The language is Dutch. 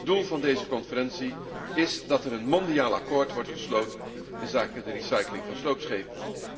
Doel van deze conferentie is dat er een mondiaal akkoord wordt gesloten inzake de recycling van sloopschepen.